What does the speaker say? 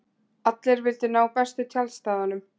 Allir vildu ná bestu tjaldstæðunum.